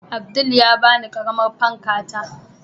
Abdul ya bani ƙaramar fanka ta